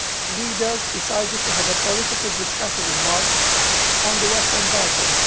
The leaders decided to have a political discussion in March on the Western Balkans.